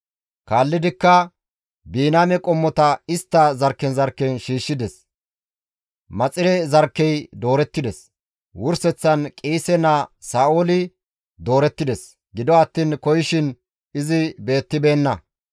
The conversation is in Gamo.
Kaallidikka Biniyaame qommota istta zarkken zarkken shiishshides; Maxire zarkkey doorettides; wurseththan Qiise naa Sa7ooli doorettides; gido attiin koyishin izi beettibeenna.